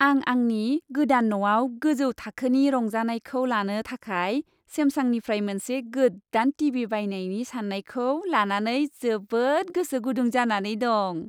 आं आंनि गोदान न'आव गोजौ थाखोनि रंजानायखौ लानो थाखाय सेमसांनिफ्राय मोनसे गोदान टीभी बायनायनि साननायखौ लानानै जोबोद गोसो गुदुं जानानै दं।